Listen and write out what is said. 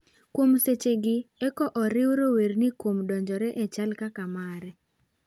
Kuom seche gi eki oriwo rowerni kuom donjore e chal kaka mare.